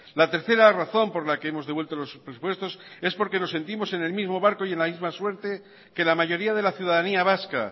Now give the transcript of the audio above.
la tercera razón por la que hemos devuelto los presupuestos es porque nos sentimos en el mismo barco y en la misma suerte que la mayoría de la ciudadanía vasca